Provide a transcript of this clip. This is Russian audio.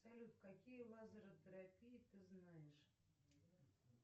салют какие лазеротерапии ты знаешь